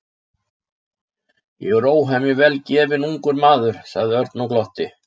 Ég er óhemju vel gefinn ungur maður sagði Örn og glotti.